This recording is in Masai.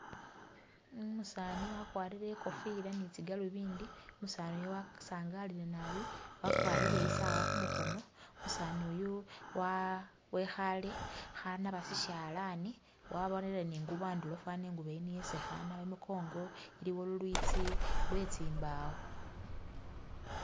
Umusaani wakwarire e'kofila ni tsi'galuvindi, umusaani uyo wasangalile naabi, wakwarire isaawa khumukhoono, umusaani uyu wa.. wekhale khanaba sishalani wabonele ni i'ngubo a'ndulo fana e'ngubo yi niyo esi khanaba, imukongo iliwo lulwitsi lwetsi mbawo